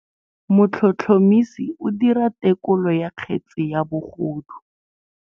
Motlhotlhomisi o dira têkolô ya kgetse ya bogodu.